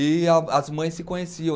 E as mães se conheciam.